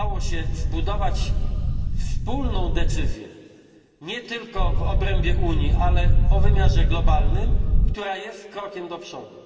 udało się zbudować wspólną decyzję, nie tylko w obrębie Unii, ale o wymiarze globalnym, która jest krokiem do przodu.